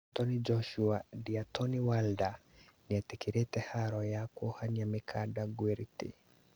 Anthony Joshua, Deotnay Wilder nĩetĩkĩrĩte haro ya kwohania mikanda ngwrwti